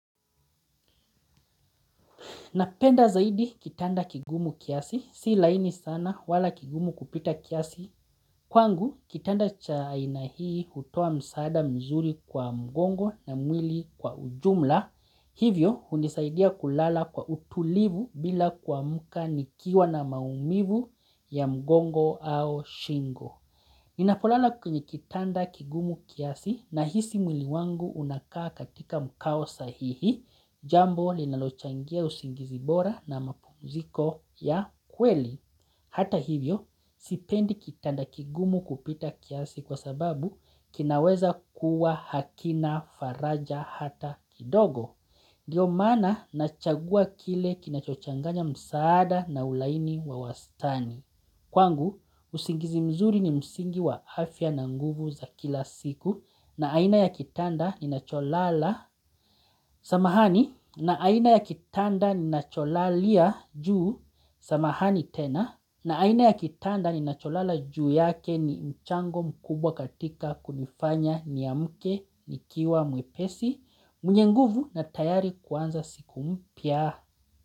Napenda zaidi kitanda kigumu kiasi, si laini sana wala kigumu kupita kiasi. Kwangu, kitanda cha aina hii utoa msaada mzuri kwa mgongo na mwili kwa ujumla. Hivyo, unisaidia kulala kwa utulivu bila kuamuka nikiwa na maumivu ya mgongo au shingo. Nina polala kwenye kitanda kigumu kiasi na hisi mwili wangu unakaa katika mkao sahihi. Jambo linalochangia usingizi bora na mapumziko ya kweli Hata hivyo, sipendi kitanda kigumu kupita kiasi kwa sababu kinaweza kuwa hakina faraja hata kidogo ndio maana nachagua kile kinachochanganya msaada na ulaini wa wastani Kwangu, usingizi mzuri ni msingi wa afya na nguvu za kila siku na aina ya kitanda ni nacholala Samahani na aina ya kitanda ni nacholalia juu. Samahani tena na aina ya kitanda ni nacholala juu yake ni mchango mkubwa katika kunifanya ni amuke ni kiwa mwepesi. Mnye nguvu na tayari kuanza siku mpya.